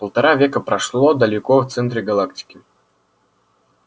полтора века прошло далеко в центре галактики